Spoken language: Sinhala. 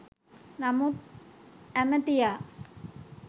නමුත් ඇමතියා